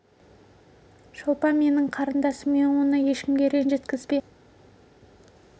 шолпан менің қарындасым мен оны ешкімге ренжіткізбеймін мұның дұрыс ешкімге ренжіткізбе бірақ мен допты әдейілеп емес